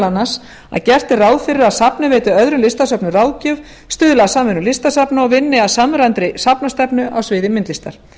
annars að gert er ráð fyrir að safnið veiti öðrum listasöfnum ráðgjöf stuðli að samvinnu listasafna og vinni að samræmdri safnastefnu á sviði myndlistar